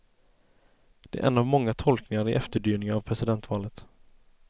Det är en av många tolkningar i efterdyningarna av presidentvalet.